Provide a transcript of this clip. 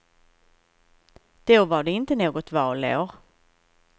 Då var det inte något valår.